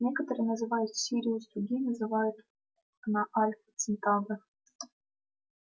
некоторые называют сириус другие называют на альфа центавра